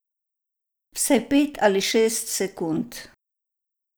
Vsaj pet ali šest sekund.